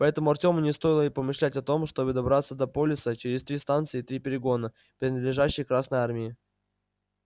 поэтому артему не стоило и помышлять о том чтобы добраться до полиса через три станции и три перегона принадлежащих красной армии